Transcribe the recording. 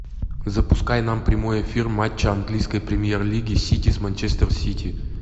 запускай нам прямой эфир матча английской премьер лиги сити с манчестер сити